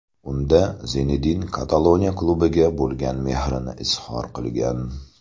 Unda Zinedin Kataloniya klubiga bo‘lgan mehrini izhor qilgan.